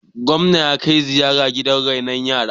gwamna ya kai ziyara gidan renon yara